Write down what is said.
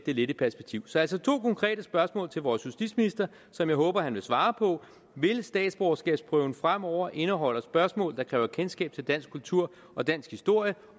lidt i perspektiv så altså to konkrete spørgsmål til vores justitsminister som jeg håber han vil svare på vil statsborgerskabsprøven fremover indeholde spørgsmål der kræver kendskab til dansk kultur og dansk historie